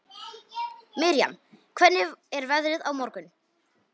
Miriam, hvernig er veðrið á morgun?